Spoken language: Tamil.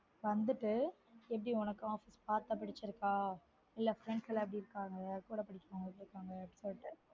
வந்துட்டு எப்டி உனக்கு office பார்க்க புடுச்சிருக்கா இல்ல friends எல்லான் எப்டி இருகாங்க கூட வேல பாக்குறவங்க